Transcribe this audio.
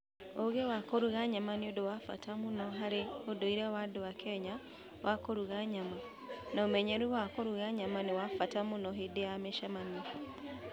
Ũgĩ wa kũruga nyama nĩ ũndũ wa bata mũno harĩ ũndũire wa andũ a Kenya wa kũruga nyama, na ũmenyeru wa kũruga nyama nĩ wa bata mũno hĩndĩ ya mĩcemanio.